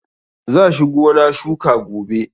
Za shi gona shuka gobe.